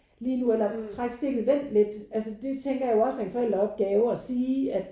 Lige nu eller træk stikket vent lidt altså det tænker jeg er jo også en forældreopgave at sige at